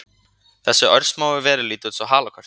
Þessar örsmáu verur líta út eins og halakörtur